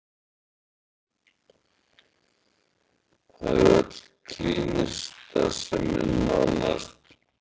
Það er öll klínísk starfsemin nánast